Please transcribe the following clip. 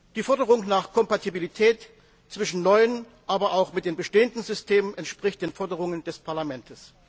Die Forderung nach Kompatibilität zwischen neuen, aber auch mit den bestehenden Systemen entspricht den Forderungen des Parlaments.